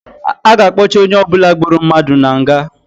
A ga-akpọchị onye ọbụla gburu mmadụ na nga